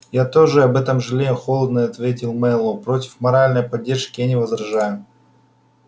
я тоже об этом жалею холодно ответил мэллоу против моральной поддержки я не возражаю